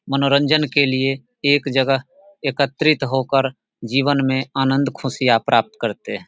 मनोरंजन के लिए एक जगह एकत्रित होकर जीवन में आनंद खुशियाँ प्राप्त करते हैं।